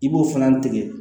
I b'o fana tigɛ